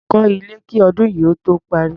Kọ́ ilé kí ọdún yìí ó tó parí.